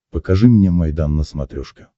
покажи мне майдан на смотрешке